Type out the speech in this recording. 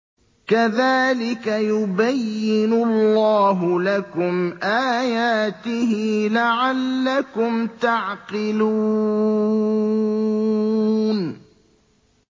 كَذَٰلِكَ يُبَيِّنُ اللَّهُ لَكُمْ آيَاتِهِ لَعَلَّكُمْ تَعْقِلُونَ